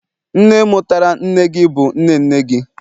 nne mutara nne gi, bu nne nne gi